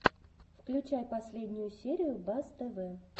включай последнюю серию бас тв